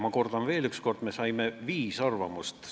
Ma kordan veel üks kord: me saime viis arvamust.